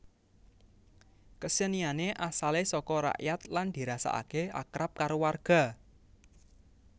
Keseniané asalé soko rakyat lan dirasakake akrab karo warga